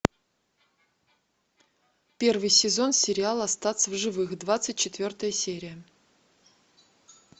первый сезон сериала остаться в живых двадцать четвертая серия